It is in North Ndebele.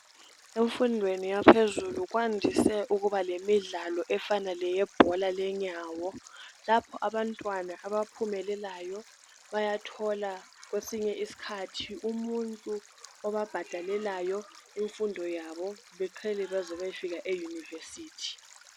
Emfundweni yaphezulu kwandise ukuba lemidlalo efana leyebhola lenyawo lapho abantwana abaphumelelayo bayathola kwesinye isikhathi umuntu obabhadalelayo imfundo yabo beqhele beze beyefika e university